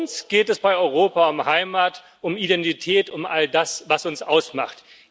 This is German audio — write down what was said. Uns geht es bei Europa um Heimat, um Identität, um all das, was uns ausmacht.